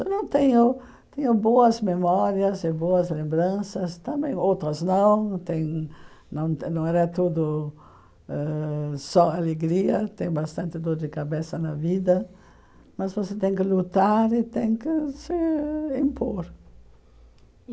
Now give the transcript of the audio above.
Eu não tenho tenho boas memórias e boas lembranças, também outras não, não tem não era tudo ãh só alegria, tem bastante dor de cabeça na vida, mas você tem que lutar e tem que se impor.